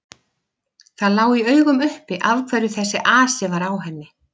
Það lá í augum uppi af hverju þessi asi var á henni.